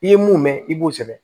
I ye mun mɛn i b'o sɛbɛn